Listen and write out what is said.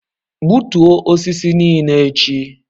Gbutuo osisi nile echi.